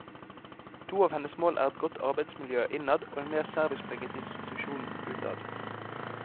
To av hennes mål er et godt arbeidsmiljø innad og en mer servicepreget institusjon utad.